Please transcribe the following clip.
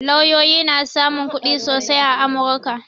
Lauyoyi na samun kuɗi sosai a amurka